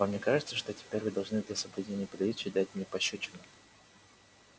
вам не кажется что теперь вы должны для соблюдения приличий дать мне пощёчину